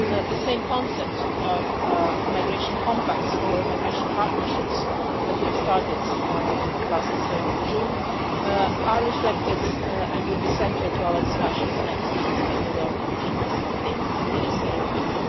The same concept of migration compacts or migration partnerships that we have started last June is reflected in and will be central to our discussions next week in New York in the General Assembly ministerial week.